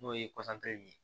N'o ye ye